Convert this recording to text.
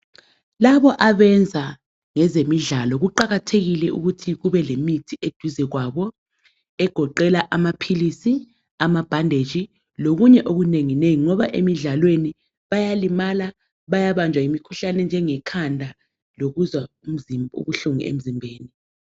Labo ebenza ngezidlalo kuqakathekile ukuthi kube lemithi eduze kwabo egoqela amaphilisi, ama bhandeji lokunye okunengi nengi, ngoba emidlalweni bayalimala bayabanjwa yimikhuhlane enjenge khanda lokuzwa ubuhlungu emzimbeni.